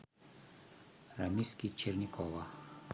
рамиски черникова